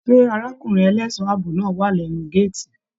Ṣe arákùnrin ẹlẹṣọ ààbò náà wà lẹnu gàátí?